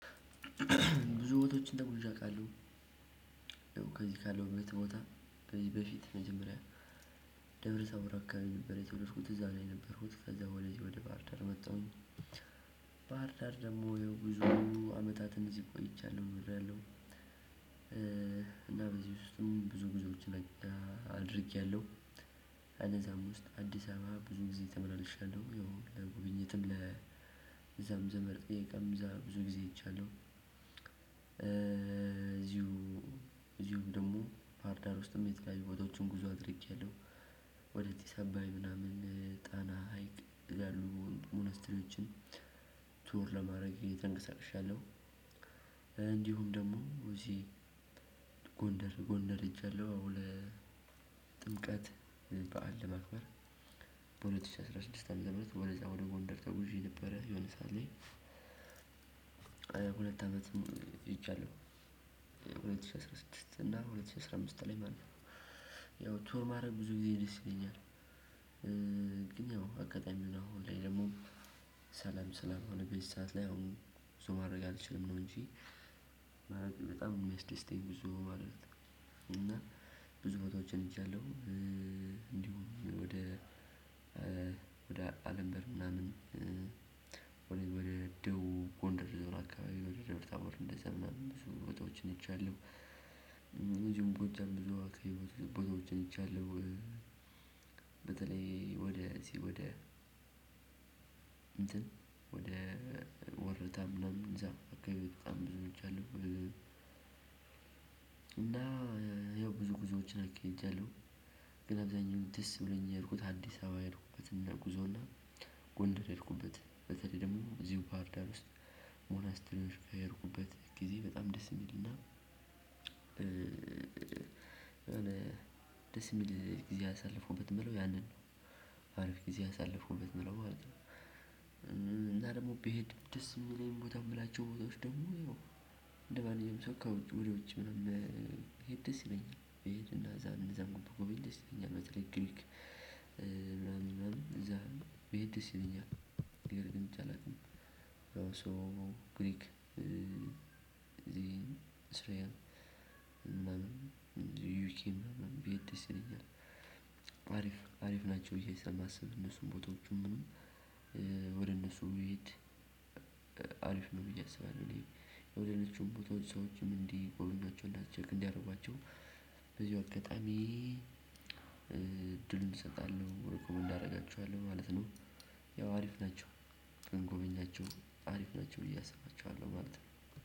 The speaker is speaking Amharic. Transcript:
ብዙ ቦታዎችን ተጉዤ አውቃለሁ። ከዚህ ካለሁበት ቦታ ከዚህ በፊት መጀመሪያ ደብረ ታቦር አካባቢ ነበር የተወለድኩት እዛ ነው ነበርኩት። ከዛ ወደ ባህርዳር መጣሁኝ ባህርዳር ደግሞ ብዙ አመታትን እዚህ ቆይቻለሁ ኖሪያለሁ። እና በዚህ ውስጥም ብዙ ጉዞዎችን አድርጌያለሁ። በነዛም ውስጥ አዲስ አበባ ብዙ ጊዜ ተመላልሻለሁ። ያው ለጉብኝትም ለ እዛም ዘመድጥየቃም ብዙ ጊዜ ሄጃለሁ። እዚሁ እዚሁ ደግሞ ባህርዳር ውስጥም የተለያዩ ቦታዎችን ጉዞ አድርጌያለሁ። ወደ ጢስአባይ ምናምን ጣና ሀይቅ ያሉ 'ሞነስትሪዎችን ቱር' ለማድረግ ተንቀሳቅሻለሁ። እንዲሁም ደግሞ እዚህ ጎንደር ጎንደር ሄጃለሁ ለጥምቀት በዓል ለማክበር። በሁለት ሺህ አስራ ስድስት አመተምህረት ወደዛ ወደ ጎንደር ተጉዤ ነበረ የሆነ ሰዓት ላይ። ሁለት አመትም ሄጃለሁ። ሁለት ሺህ አስራ ስድስት እና ሁለት ሺህ አስራ አምስት ላይ ማለት ነው። ያው 'ቱር' ማድረግ ብዙ ጊዜ ደስ ይለኛል። ግን ያው አጋጣሚ ሆኖ ላይ ደግሞ ሰላም ስላልሆነ በዚ ሰዓት ላይ አሁን ጉዞ ማድረግ አልችልም ነው እንጂ በጣም የሚያስደስተኝ ጉዞ ማድረግ። እና ብዙ ቦታዎችን ሄጃለሁ። እንዲሁም ወደ ወደ አለምበር ምናምን ወደ ወደ ደቡብ ጎንደር ዞን አካባቢ ወደ ደብረታቦር እንደዛ ምናምን ብዙ ቦታዎችን ሄጃለው። እደዚሁም ጎጃም እና የተለያዩ ቦታዎችን ሄጃለው። በተለይ ወደ እዚህ ወደ እንትን ወደ ወርታ ምናምን እዛም አካባቢ በጣም ብዙ ሄጃለሁ። እና ያው ብዙ ጉዞዎች አካሂጃለሁ። ግን አብዛኛው ደስ ብሎኝ የሄድኩት አዲስ አበባ የሄድኩበት ጉዞ እና ጎንደር የሄድኩበትን በተለይ ደግሞ እዚሁ ባህርዳር ውስጥ 'ሞኖስትር' የሄድኩበት ጊዜ በጣም ደስ የሚል እና የሆነ ደስ የሚል ጊዜ ያሳለፍኩበት የምለው ያንን ነው። አሪፍ ጊዜ ያሳለፍኩበት የምለው ማለት ነው። እና ደግሞ ቢሄድ ደስ የሚለኝ ቦታ የምላቸው ቦታዎች ደግሞ እንደማንኛውም ሰው ከውስጥ ወደ ውጪ ምናምን ብሄድ ደስ ይለኛል። ከዛን እነዛን ብጎበኝ ደስ ይለኛል። በተለይ ግሪክ ምናምን ምናምን እዛ ብሄድ ደስ ይለኛል ነው ግን ሄጄ አላውቅም። 'ሶ' ግሪክ፣ እስራኤል እና ዩኪ እና ብሄድ ደስ ይለኛል። አሪፍ ናቸው ብዬ ስለማስብ እነሱን ቦታዎቹን ወደ እነሱ ብሄድ ነው ብዬ አስባለሁ። ግን ሌሎቹም ቦታዎች ሰዎችም እንዲጎበኛቸው እና 'ቼክ' እንዲያደርጓቸው በዚው አጋጣሚ እድሉን እሰጣለሁ። 'ሪኮሜንድ' አደርጋቸዋለሁ ማለት ነው። ያው አሪፍ ናቸው ለጎበኛቸው አሪፍ ናቸው ብዬ አስባቸዋለሁ ማለት ነው።